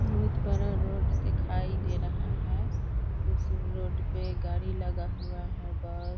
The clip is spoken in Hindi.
बहुत बड़ा रोड दिखाई दे रहा है। उस रोड पे गाड़ी लगा हुआ है ब --